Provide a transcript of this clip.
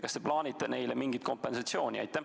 Kas te plaanite maksta neile mingisugust kompensatsiooni?